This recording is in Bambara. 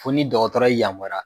Fo ni dɔgɔtɔrɔ y'i yamaruya